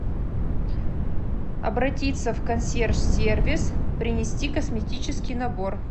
обратиться в консьерж сервис принести косметический набор